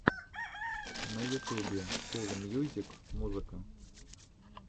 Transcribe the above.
на ютубе кул мьюзик музыка